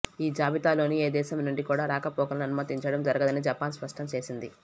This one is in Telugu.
ఈ జాబితాలోని ఏ దేశం నుండి కూడా రాకపోకలను అనుమతించడం జరగదని జపాన్ స్పష్టం చేసింది